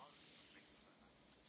Ich bin ja auch nicht streng.